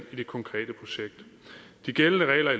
det konkrete projekt de gældende regler